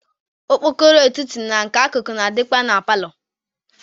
Okpokoro etiti na nke akụkụ na-adịkwa na palọ.